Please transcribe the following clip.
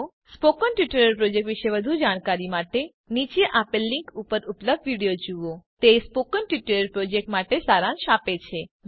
spoken tutorial project વિષે વધુ જાણવા માટે નીચે આપેલ લીંક ઉપર ઉપલબ્ધ વિડીઓ જુઓ httpspoken tutorialorgWhat is a Spoken Tutorial તે સ્પોકન ટ્યુટોરીયલ પ્રોજેક્ટ માટે સારાંશ આપે છે